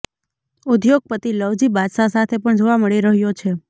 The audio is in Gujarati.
ઉદ્યોગપતિ લવજી બાદશાહ સાથે પણ જોવા મળી રહ્યો છે